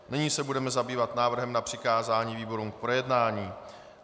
Nyní se budeme zabývat návrhem na přikázání výborům k projednání.